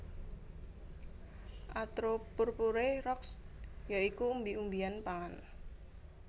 atropurpurea Roxb ya iku umbi umbian pangan